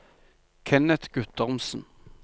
Kenneth Guttormsen